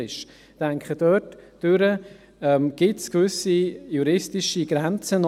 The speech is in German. » Ich denke, diesbezüglich gibt es auch gewisse juristische Grenzen.